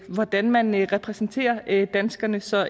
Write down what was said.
hvordan man repræsenterer danskerne så